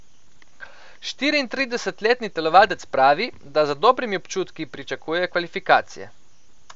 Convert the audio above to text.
Štiriintridesetletni telovadec pravi, da z dobrimi občutki pričakuje kvalifikacije.